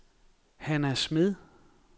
Hanna Smed